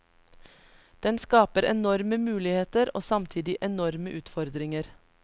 Den skaper enorme muligheter, og samtidig enorme utfordringer.